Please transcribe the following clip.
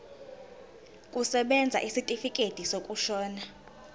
kusebenza isitifikedi sokushona